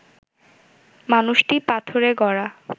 মানুষটি পাথরে গড়া